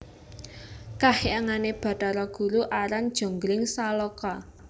Kahyangané Bathara Guru aran Jonggringsaloka